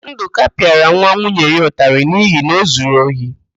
Ndụka pịara nwa nwunye ya ụtarị n'ihi na o zuru ohi.